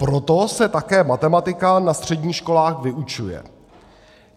Proto se také matematika na středních školách vyučuje.